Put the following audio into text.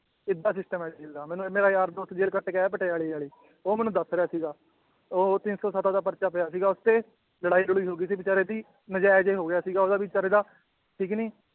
ਏਦਾਂ system ਹੈ ਜੇਲ੍ਹ ਦਾ ਮੈਨੂੰ ਮੇਰਾ ਯਾਰ ਦੋਸਤ ਜੇਲ੍ਹ ਕੱਟ ਕੇ ਆਇਆ ਪਟਿਆਲੇ ਵਾਲੀ ਉਹ ਮੈਨੂੰ ਦੱਸ ਰਿਹਾ ਸੀਗਾ, ਉਹ ਤਿੰਨ ਸੌ ਸੱਤ ਦਾ ਪਰਚਾ ਪਿਆ ਸੀਗਾ ਉਹ ਤੇ, ਲੜਾਈ ਲੜੂਈ ਹੋ ਗਈ ਸੀ ਬੇਚਾਰੇ ਦੀ, ਨਜਾਇਜ਼ ਹੋ ਗਿਆ ਸੀਗਾ ਉਹਦਾ ਵੀ ਬੇਚਾਰੇ ਦਾ ਠੀਕ ਨੀ